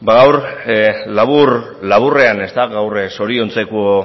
guk labur laburrean gaur zoriontzeko